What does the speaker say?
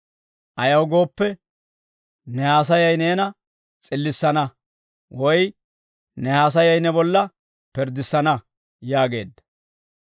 Ayaw gooppe, ne haasayay neena s'illissana; woy ne haasayay ne bolla pirddissana» yaageedda.